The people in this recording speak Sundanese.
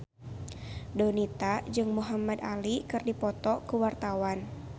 Donita jeung Muhamad Ali keur dipoto ku wartawan